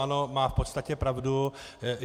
Ano, má v podstatě pravdu.